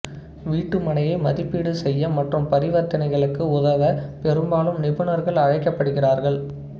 வீட்டு மனையை மதிப்பீடு செய்ய மற்றும் பரிவர்தனைகளுக்கு உதவ பெரும்பாலும் நிபுணர்கள் அழைக்கப்படுகிறார்கள்